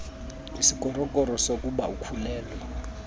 isikrokro sokuba ukhulelwe